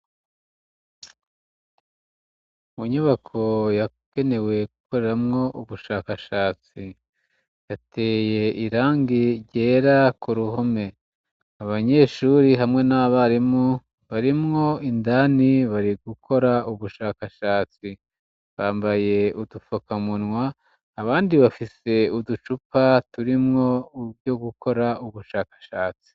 Mu nyubako yakegewe gukoreramwo ubushakashatsi hateye irangi ryera ku ruhume abanyeshuri hamwe n'abarimu barimwo indani bari gukora ubushakashatsi bambaye udufakamunwa abandi bafise uducupa turimwo ivyo gukora ubushakashatsi.